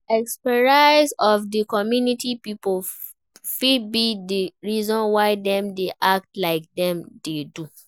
Experience of di community pipo fit be the reason why dem dey act like dem dey do